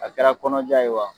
A kɛra kɔnɔja ye wa